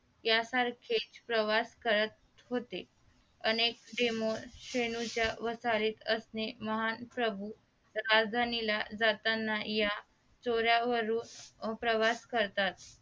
यासारखेच प्रवास करत होतेअनेक demo शेनूच्या वसारीत असणे महान प्रभूराजधानीला जाताना या चोऱ्या वरून प्रवास करतात